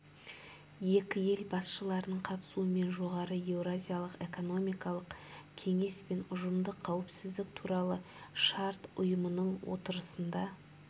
екі ел басшыларының қатысуымен жоғары еуразиялық экономикалық кеңес пен ұжымдық қауіпсіздік туралы шарт ұйымының отырысында